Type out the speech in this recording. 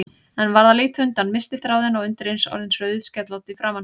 En varð að líta undan, missti þráðinn, undireins orðin rauðskellótt í framan.